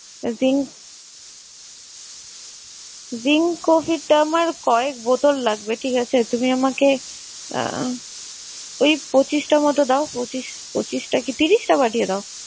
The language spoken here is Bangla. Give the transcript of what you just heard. Ring~ ring covid আমার কয়েক বোতল লাগবে। ঠিক আছে? তুমি আমাকে আহ ওই পঁচিশটা মতো দাও পঁচিশ~ পঁচিশটা কি ত্রিশটা পাঠিয়ে দাও।